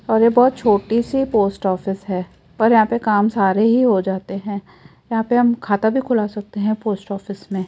और ये बहोत छोटी सी पोस्ट ऑफिस है पर यहां पे काम सारे ही हो जाते है यहां पे हम खाता भी खुला सकते है पोस्ट ऑफिस में।